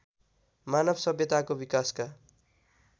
मानव सभ्यताको विकासका